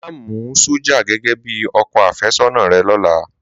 Máa mú sọ́jà gẹ́gẹ́ bí ọkọ àfẹ́sọ́nà rẹ lọ́la.